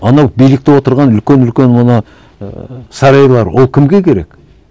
анау билікте отырған үлкен үлкен ана ііі сарайлары ол кімге керек